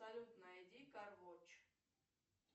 салют найди кар вотч